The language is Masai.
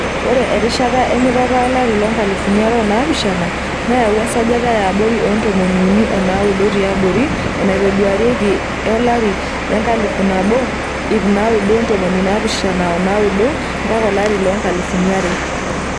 Ore erishata emitata olari loonkalifuni are o naapishana neyawua esajata yaabori oontomini uni onaado tiabori enaitoduarieki e 1979-200.